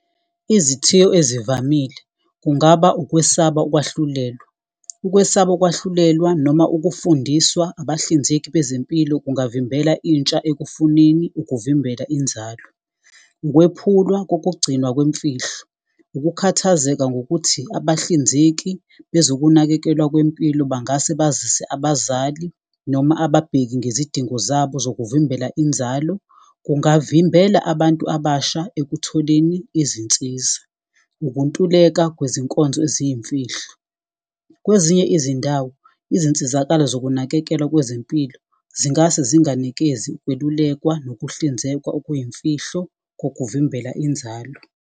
Izithiyo ezivamile kungaba ukwesaba ukwahlulelwa. Ukwesaba ukwahlulelwa noma ukufundiswa abahlinzeki bezempilo kungavimbela intsha ekufuneni ukuvimbela inzalo. Ukwephula kokugcinwa kwemfihlo, ukukhathazeka ngokuthi abahlinzeki bezokunakekelwa kwempilo bangase bazise abazali. Noma ababheki ngezidingo zabo zokuvimbela inzalo, kungavimbela abantu abasha ekutholeni izinsiza. Ukuntuleka kwezinkonzo eziyimfihlo, kwezinye izindawo izinsizakalo zokunakekelwa kwezempilo. Zingase zinganikezi ukwelulekwa nokuhlinzekwa okuyimfihlo kokuvimbela inzalo.